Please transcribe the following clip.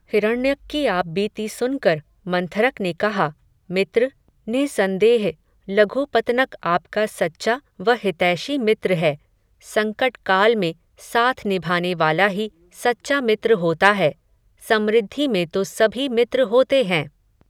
हिरण्यक की आप बीती सुनकर, मंथरक ने कहा, मित्र, निःसंदेह, लघुपतनक आपका सच्चा व हितैषी मित्र है. संकट काल में, साथ निभानेवाला ही, सच्चा मित्र होता है. समृद्धि में तो सभी मित्र होते हैं.